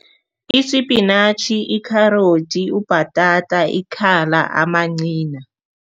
Isipinatjhi, i-carrot, ubhatata, ikhala, amanqina.